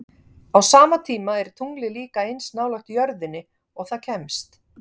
Á sama tíma er tunglið líka eins nálægt jörðinni og það kemst.